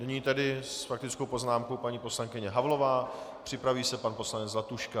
Nyní tedy s faktickou poznámkou paní poslankyně Havlová, připraví se pan poslanec Zlatuška.